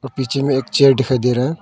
और पीछे में एक चियार दिखाई दे रहा है।